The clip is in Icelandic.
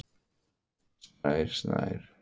Snær